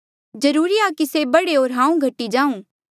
जरूरी आ कि से बढ़े होर हांऊँ घटी जाऊं